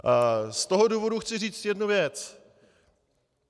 Z toho důvodu chci říct jednu věc.